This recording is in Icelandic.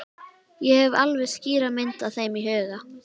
Ég hef alveg skýra mynd af þeim í huganum.